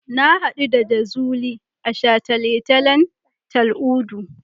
Na haɗu da Jazuli a shataletalen Tal'udu.